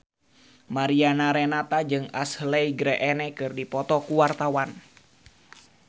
Mariana Renata jeung Ashley Greene keur dipoto ku wartawan